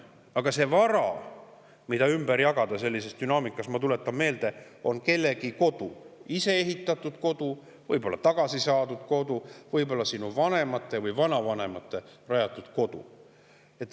Aga see vara, mida ümber jagatakse sellises dünaamikas, ma tuletan meelde, on kellegi kodu, ise ehitatud kodu, võib-olla tagasi saadud kodu, võib-olla vanemate või vanavanemate rajatud kodu.